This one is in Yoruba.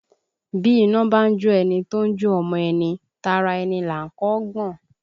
Bí iná bá ń jó ẹni tó ń jó ọmọ ẹni, tara ẹni là á kọ́ gbọ̀n